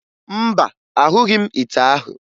Mba, ahụghị m ite ahụ